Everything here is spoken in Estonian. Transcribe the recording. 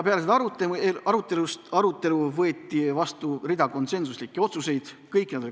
Peale seda arutelu võetu vastu rida konsensuslikke otsuseid.